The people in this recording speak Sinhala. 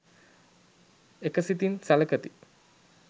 එක සිතින් සළකති.